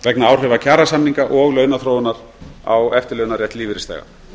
vegna áhrifa kjarasamninga og launaþróunar á eftirlaunarétt lífeyrisþega